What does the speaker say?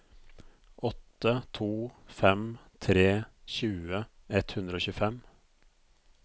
åtte to fem tre tjue ett hundre og tjuefem